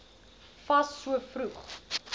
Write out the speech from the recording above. fas so vroeg